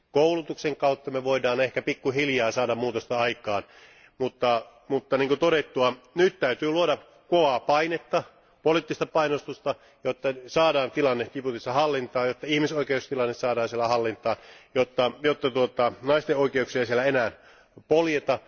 Koulutuksen kautta me voimme ehkä pikku hiljaa saada muutosta aikaan, mutta niin kuin on todettu, nyt täytyy luoda kovaa painetta, poliittista painostusta, jotta saadaan tilanne Djiboutissa hallintaan, ja jotta ihmisoikeustilanne saadaan siellä hallintaan, jotta naisten oikeuksia ei siellä enää poljeta.